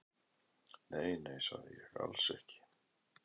Nei, nei, sagði ég, alls ekki.